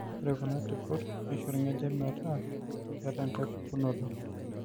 ore kuna tipot neisho orngejep metaa keeta enkae pukunoto